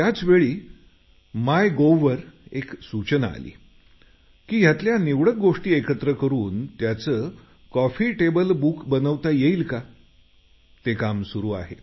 त्याचवेळी my gov वर एक सूचना आली की त्यातल्या निवडक गोष्टी एकत्र करून त्याचं कॉफी टेबल बुक बनवता येईल का ते काम सुरू आहे